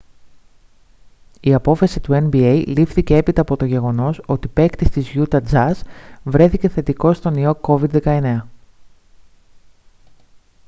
η απόφαση του nba λήφθηκε έπειτα από το γεγονός ότι παίκτης της γιούτα τζαζ βρέθηκε θετικός στον ιό covid-19